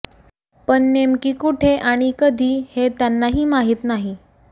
पण नेमकी कुठे आणि कधी हे त्यांनाही माहीत नाही